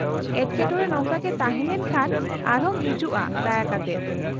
-ᱮᱴᱠᱮᱴᱚᱬᱮ ᱱᱚᱝᱠᱟᱜᱮ ᱛᱟᱦᱮᱸ ᱞᱮᱱᱠᱷᱟᱱ ᱟᱨᱦᱚᱸᱢ ᱦᱤᱡᱩᱜᱼᱟ ᱫᱟᱭᱟ ᱠᱟᱛᱮᱫ ᱾